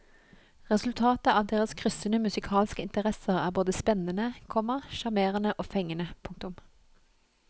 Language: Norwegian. Resultatet av deres kryssende musikalske interesser er både spennende, komma sjarmerende og fengende. punktum